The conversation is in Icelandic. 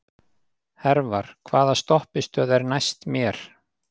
Hervar, hvaða stoppistöð er næst mér?